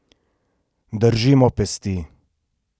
Držimo pesti!